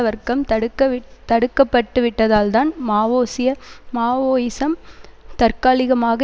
வர்க்கம் தடுக்கவி தடுக்கப்பட்டுவிட்டதால்தான் மாவோசிய மாவோயிசம் தற்காலிகமாக